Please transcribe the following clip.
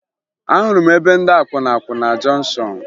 Ahụrụ m ebe ndị akwụna kwụ na jọnshọn